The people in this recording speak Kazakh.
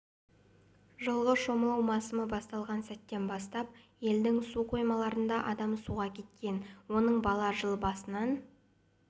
жылғы шомылу масымы басталған сәттен бастап елдің су қоймаларында адам суға кеткен оның бала жыл басынан